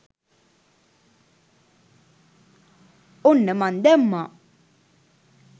ඔන්න මන් දැම්මා